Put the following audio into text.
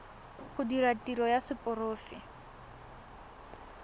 go dira tiro ya seporofe